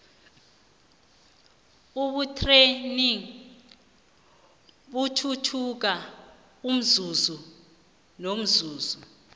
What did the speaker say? ubuthegnirhi buthuthuka umzuzu nomzuzu